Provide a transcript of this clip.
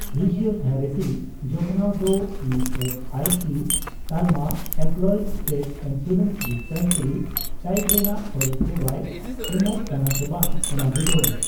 Physiotherapy ᱡᱚᱛᱚᱱᱟᱣ ᱫᱚ E S I C ᱛᱟᱞᱢᱟ employees state insurance dispensary type ᱨᱮᱱᱟᱜ ᱯᱚᱨᱤᱥᱮᱵᱟᱭ ᱮᱢᱚᱜ ᱠᱟᱱᱟ ᱥᱮ ᱵᱟᱝ ᱚᱱᱟ ᱵᱤᱰᱟᱹᱣ ᱢᱮ ᱾